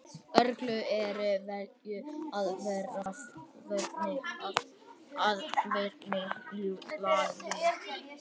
Uglur eru vel aðlagaðar veiðum að næturlagi.